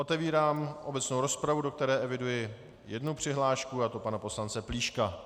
Otevírám obecnou rozpravu, do které eviduji jednu přihlášku, a to pana poslance Plíška.